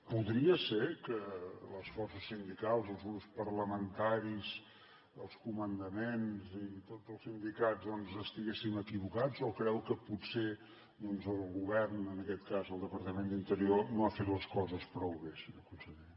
podria ser que les forces sindicals els grups parlamentaris els comandaments i tots els sindicats doncs estiguéssim equivocats o creu que potser doncs el govern en aquest cas el departament d’interior no ha fet les coses prou bé senyor conseller